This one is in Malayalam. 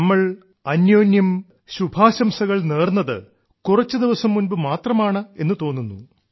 നമ്മൾ അന്യോന്യം ശുഭാശംസകൾ നേർന്നത് കുറച്ചു ദിവസം മുൻപ് മാത്രമാണെന്നു തോന്നുന്നു